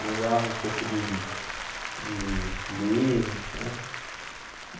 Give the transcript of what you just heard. Manjava um pouco de de Linux, hã?